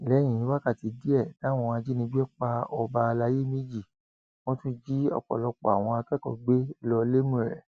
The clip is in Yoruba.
lẹyìn wákàtí díẹ táwọn ajínigbé pa ọba àlàyé méjì wọn tún jí ọpọlọpọ àwọn akẹkọọ gbé lọ lẹmúrè